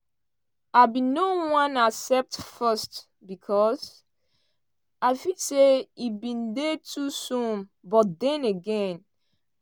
"i bin no wan accept first becos i feel say e bin dey too soon but den again i bin always want dis